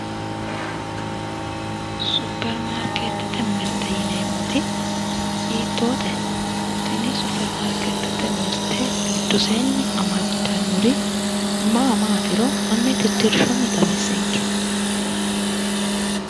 Supirimaariketete mirte yineemmoti hiittote tini supirimaariketete mirte giddosenni amadanori maa maatiro hanni titirshunni xawisenke